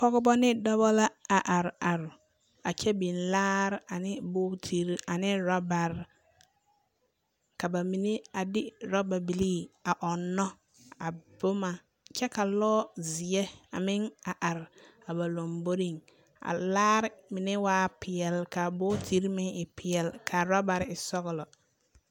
Pͻgebͻ ne dͻbͻ la a are are a kyԑ biŋ laare ane bogitiri ane orabare. Ka ba mine a de orababilii a ͻnnͻ a boma kyԑ ka lͻͻzeԑ a meŋ a are a ba lomboriŋ. A laare mine waa peԑle ka a bogitiri meŋ e peԑle, ka a orabare e sͻgelͻ.